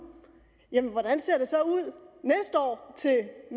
jamen hvordan ser